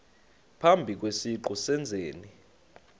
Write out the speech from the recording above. phambi kwesiqu sezenzi